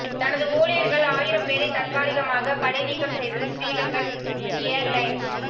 தனது ஊழியர்கள் ஆயிரம் பேரை தற்காலிகமாக பணிநீக்கம் செய்தது ஸ்ரீலங்கன் எயார்லைன்ஸ்